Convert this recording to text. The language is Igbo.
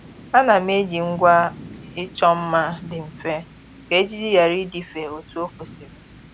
Ànà m eji ngwa ịchọ mma dị mfe kà ejiji ghara ịdịfe otu o kwesịrị